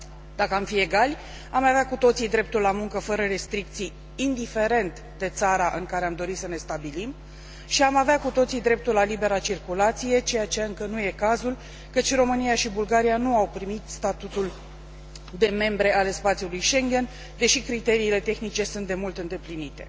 Dacă am fi egali am avea cu toții dreptul la muncă fără restricții, indiferent de țara în care am dori să ne stabilim și am avea cu toții dreptul la libera circulație, ceea ce încă nu e cazul, căci România și Bulgaria nu au primit statutul de membre ale spațiului Schengen, deși criteriile tehnice sunt demult îndeplinite.